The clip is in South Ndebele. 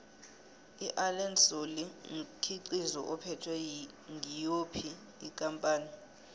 iallen solly mkhiqizo uphethwe ngiyophi ikampani